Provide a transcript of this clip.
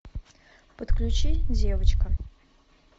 подключи девочка